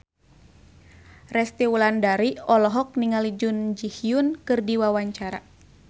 Resty Wulandari olohok ningali Jun Ji Hyun keur diwawancara